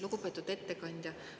Lugupeetud ettekandja!